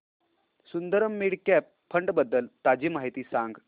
Sundaram mid cap fund बद्दल ताजी माहिती सांग